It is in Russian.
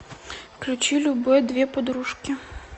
включи любэ две подружки